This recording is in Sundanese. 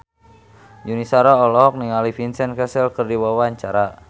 Yuni Shara olohok ningali Vincent Cassel keur diwawancara